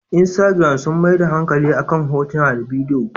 Instagiram sun maida hankali akan hotuna da bidiyo.